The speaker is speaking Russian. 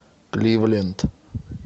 кливленд